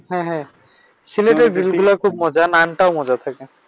হ্যাঁ হ্যাঁ সিলেটের গ্রিলগুলা খুব মজা নানটাও মজা থাকে।